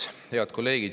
Head kolleegid!